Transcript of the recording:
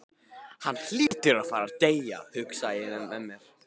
Hann hlýtur að fara að deyja, hugsaði ég með mér.